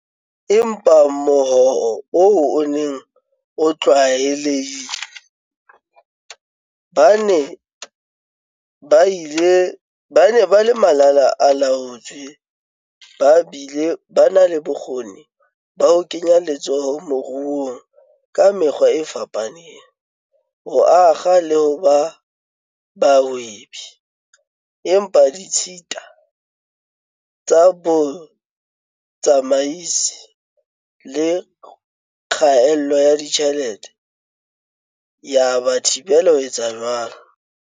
Empa mohoo oo o ne o tlwaelehile- ba ne ba le malala-a-laotswe ba bile ba na le bokgoni ba ho kenya letsoho moruong ka mekgwa e fapaneng, ho akga le ho ba bahwebi, empa ditshita tsa bo tsamaisi le kgaello ya ditjhelete di ba thibela ho etsa jwalo.